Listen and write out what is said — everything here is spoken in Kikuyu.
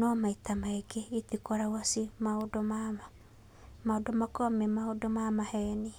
No maita maingĩ itikoragwo ciĩ maũndũ ma ma, maũndũ mao makoragwo me maũndũ ma maheni.